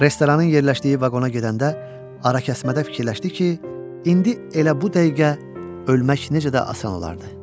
Restoranın yerləşdiyi vaqona gedəndə arəkəsmədə fikirləşdi ki, indi elə bu dəqiqə ölmək necə də asan olardı.